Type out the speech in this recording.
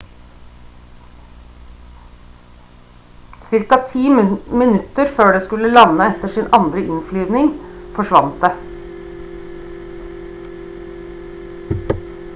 ca ti minutter før det skulle lande etter sin andre innflyvning forsvant det